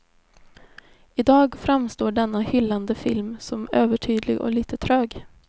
I dag framstår denna hyllade film som övertydlig och lite trög.